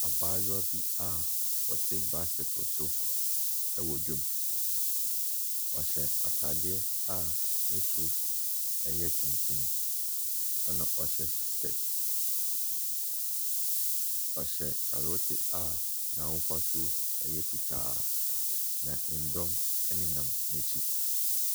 Abaayewa bi a ɔte bicycle so wɔ dwam. Ɔhyɛ atadeɛ a ne soro yɛ tuntum, ɛnna wahyɛ skirt. Ɔhyɛ kyale wote a n'ahofasuo yɛ fitaa, na dɔm nenam n'akyi.